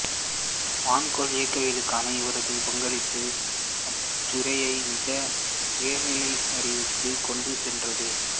வான்கோள இயக்கவியலுக்கான இவரது பங்களிப்புகள் அத்துறையை மிக உயர்நிலை அறிவுக்குக் கொண்டுசென்றது